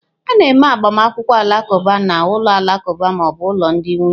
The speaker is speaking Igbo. A na-eme agbamakwụkwọ Alakuba na ụlọ alakụba ma ọ bụ ụlọ ndị nwunye.